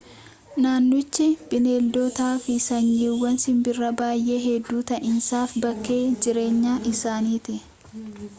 naannochi bineeldotaafi sanyiiwwan simbiraa baay'ee hedduu ta'aniifis bakkee jireenya isaaniiti